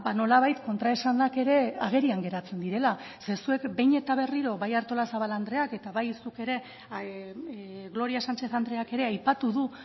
nolabait kontraesanak ere agerian geratzen direla ze zuek behin eta berriro bai artolazabal andreak eta bai zuk ere gloria sánchez andreak ere aipatu du